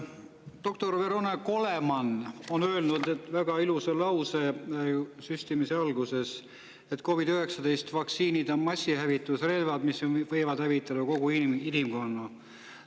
Doktor Vernon Coleman ütles väga ilusa lause, kui alustati süstimist, et COVID-19 vaktsiinid on massihävitusrelvad, mis võivad hävitada kogu inimkonna.